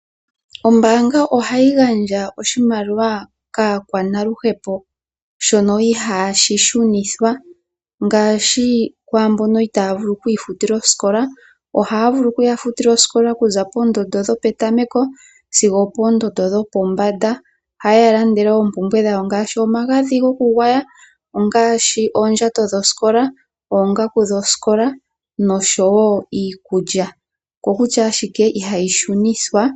Ombaanga ohayi gandja oshimaliwa kaakwanaluhepo shono ihaashi shunithwa ngaashi kwa mbono itaya vulu okwiifutila osikola. Ohaya vulu oku ya futila osikola okuza poondondo dhopetameko sigo opoondondo dhopombanda, ohaye ya landele oompumbwe dhawo ngaashi omagadhi gokugwaya ,ongaashi oondjato dhosikola, oongaku dhosikola nosho wo iikulya, oko kutya ashike ihayi shunithwa.